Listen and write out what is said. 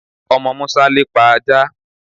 Omo Musa lepa aja